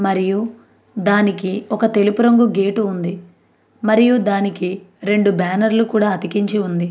మరియు దానికి ఒక తెలుపు రంగు గేట్ కూడా ఉంది మరియు దానికి రెండు బ్యానెర్లు కూడా అతికించి ఉంది.